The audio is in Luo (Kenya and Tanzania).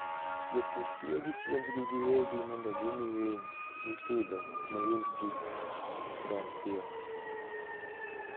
Jopur tiyo gi chiembgi giwegi mondo gimi winy mipidho ne ring gi odong piyo.